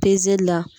Pezeli la